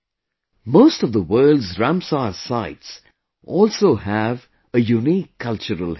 Most of the Words Ramsar Sites also have a Unique cultural heritage